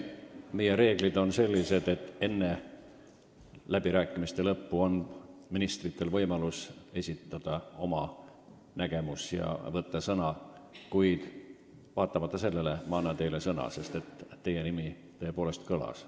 Meie reeglid on sellised, et enne läbirääkimiste lõppu on vaid ministril võimalus sõna võtta, kuid vaatamata sellele ma annan teilegi sõna, sest teie nimi tõepoolest kõlas.